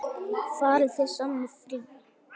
Farið þið saman í frí?